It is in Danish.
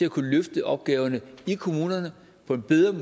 at kunne løfte opgaverne i kommunerne på en bedre